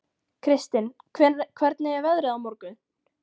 Kristin, hvernig er veðrið á morgun?